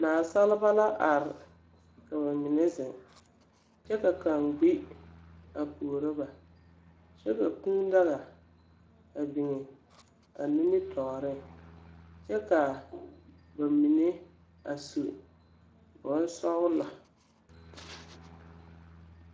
Nasaaba la are ka ba mine zeŋ, kyɛ ka kaŋa gbi a puoro ba, kyɛ ka kūū daga a biŋ ba nimmitɔɔreŋ, kyɛ ka ba mine a su bonsɔglɔ.